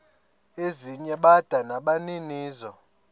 ezinye bada nabaninizo